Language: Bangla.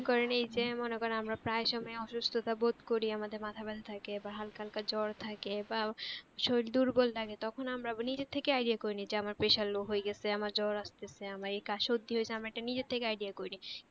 মনে করেন এই যে মনে করেন আমরা প্রায় সময় অসুস্থতা বোধ করি আমাদের মাথা ব্যাথা থাকে বা হালকা হালকা জ্বর থাকে বা শরীর দুর্বল থাকে তখন আমরা বলি নিজের থেকে idea করে নেই যে আমার pressure low হয়ে গেসে আমার জ্বর আসতেছে আমার কাসি সর্দি হইছে আমরা নিজের থেকে idea করে নেই